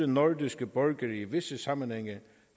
nordiske borgere i visse sammenhænge